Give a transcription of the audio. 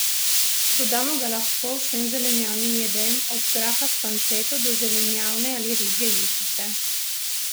Dodamo ga lahko vsem zelenjavnim jedem, od graha s panceto do zelenjavne ali ribje juhice.